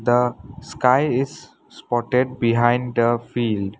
A sky is spotted behind the field.